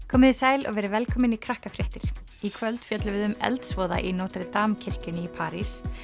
komiði sæl og verið velkomin í Krakkafréttir í kvöld fjöllum við um eldsvoða í Notre Dame kirkjunni í París